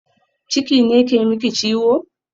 Ciki ne ke miki ciwo?